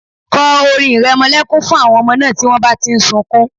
Kọ orin ìrẹmọlẹ́kún fún àwọn ọmọ náà tí wọ́n bá ti ń sunkún